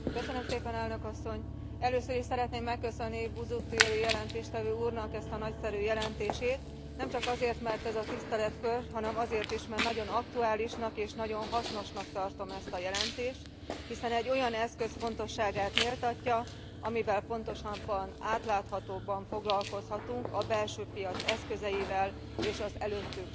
Először is szeretném megköszönni Busuttil jelentéstevő úrnak ezt a nagyszerű jelentését, nemcsak azért, mert ez a tiszteletkör, hanem azért is, mert nagyon aktuálisnak és nagyon hasznosnak tartom ezt a jelentést, hiszen egy olyan eszköz fontosságát méltatja, amivel pontosabban, átláthatóbban foglalkozhatunk a belső piac eszközeivel és az előttünk sorakozó feladatokkal.